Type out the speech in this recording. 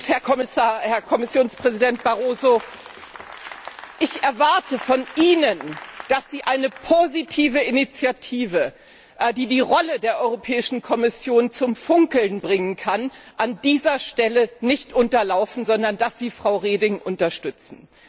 Herr Kommissionspräsident Barroso, ich erwarte von Ihnen, dass Sie eine positive Initiative, die die Rolle der Europäischen Kommission zum Funkeln bringen kann, an dieser Stelle nicht unterlaufen, sondern dass Sie Frau Reding unterstützen.